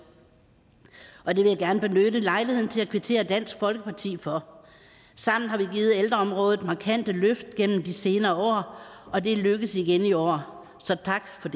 og det vil jeg gerne benytte lejligheden til at kvittere dansk folkeparti for sammen har vi givet ældreområdet markante løft gennem de senere år og det er lykkedes igen i år så tak for